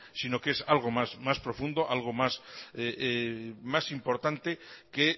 si no que es algo más profundo algo más importante que